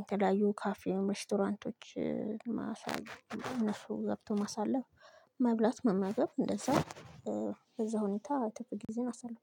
የተለያዩ ካፌም ሬስቶራንቶች ማሳለፍ እነሱ ገብቶ ማሳለፍ መብላት መመገብ እንደዛ። እዛ ሁኔታ ጥርፍ ጊዜየን አሳልፋለሁ